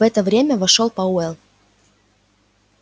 в это время вошёл пауэлл